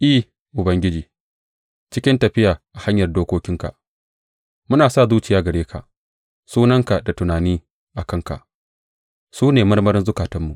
I, Ubangiji, cikin tafiya a hanyar dokokinka, muna sa zuciya gare ka; sunanka da tunani a kanka su ne marmarin zukatanmu.